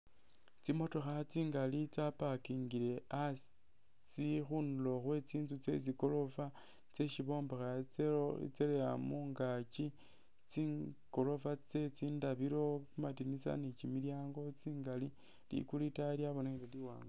Tsimotokha tsingali tsa parkingile asi tsili khunulo khwe tsinzu tsye tsigorofa tsyesi bombekha itsya tsyaleya mungaaki, tsigorofa tsye tsindabilo khu kamadinisa ni kimilyaango tsingali, likulu itaayi lyabonekhile liwaanga.